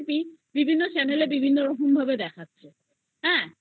বিভিন্ন রকম Channel এ বিভিন্ন করে দেখাচ্ছে